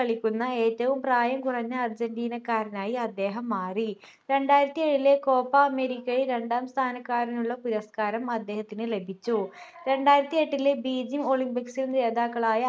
കളിക്കുന്ന ഏറ്റവും പ്രായം കുറഞ്ഞ അർജന്റീനക്കാരനായി അദ്ദേഹം മാറി രണ്ടായിരത്തി ഏഴിലെ കോപ്പ അമേരിക്കയിൽ രണ്ടാം സ്ഥാനക്കാരനുള്ള പുരസ്കാരം അദ്ദേഹത്തിന് ലഭിച്ചു രണ്ടായിരത്തിഎട്ടിലെ begium olympics ൽ ജേതാക്കളായ